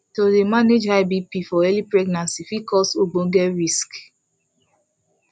to dey manage high bp for early pregnancy fit cause ogboge risks